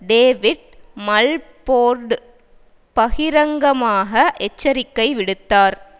David Mulford பகிரங்கமாக எச்சரிக்கை விடுத்தார்